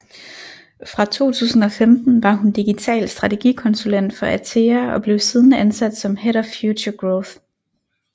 Fra 2015 var hun digital strategikonsulent for ATEA og blev siden ansat som head of Future Growth